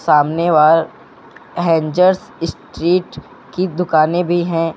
सामने hangers street की दुकानें भी हैं।